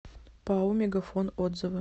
пао мегафон отзывы